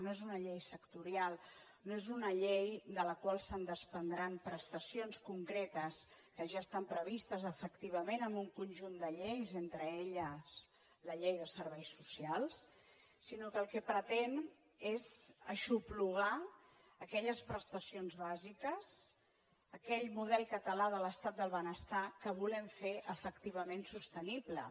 no és una llei sectorial no és una llei de la qual es desprendran prestacions concretes que ja estan previstes efectivament en un conjunt de lleis entre elles la llei de serveis socials sinó que el que pretén és aixoplugar aquelles prestacions bàsiques aquell model català de l’estat del benestar que volem fer efectivament sostenible